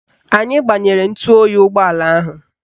Anyị gbanyere ntụoyi ụgbọala ahụ